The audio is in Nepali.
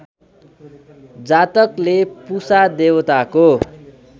जातकले पुषा देवताको